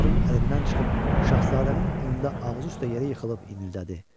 Cavanların əlindən çıxıb Şahzadənin önündə ağzı üstə yerə yıxılıb inildədi.